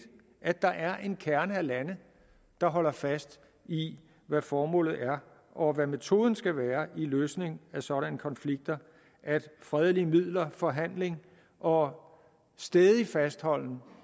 at der er en kerne af lande der holder fast i hvad formålet er og hvad metoden skal være løsning af sådanne konflikter altså at fredelige midler forhandling og stædig fastholden